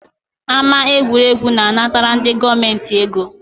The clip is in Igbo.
Ámá egwuregwu na-anatara ndị gọọmenti ego